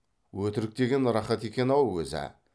өтірік деген рахат екен ау өзі ә